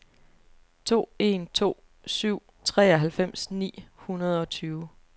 to en to syv treoghalvfems ni hundrede og tyve